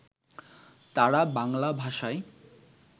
তাঁরা বাংলা ভাষায়